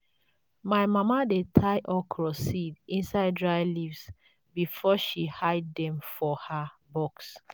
my mama dey tie okra seeds inside dry leaves before she hide them for her box.